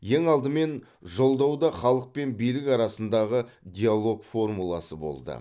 ең алдымен жолдауда халық пен билік арасындағы диалог формуласы болды